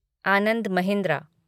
Anand Mahindra